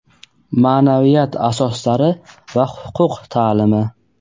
maʼnaviyat asoslari va huquq taʼlimi.